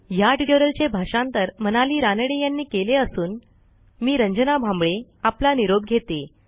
ह्या ट्युटोरियलचे भाषांतर मनाली रानडे यांनी केले असून मी रंजना भांबळे आपला निरोप घेते160